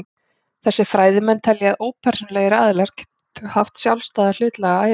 Þessir fræðimenn telja að ópersónulegir aðilar geti haft sjálfstæða hlutlæga æru.